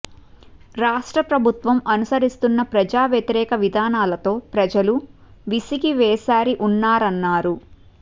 రాష్ట్రప్రభుత్వం అనుసరిస్తున్న ప్రజా వ్యతిరేక విధానాలతో ప్రజలు విసిగి వేశారి ఉన్నారన్నారు